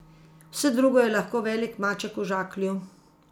Vse drugo je lahko velik maček v žaklju.